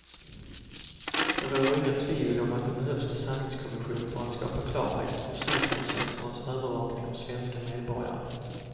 Det råder inget tvivel om att det behövs en sanningskommission för att skapa klarhet om säkerhetstjänsternas övervakning av svenska medborgare.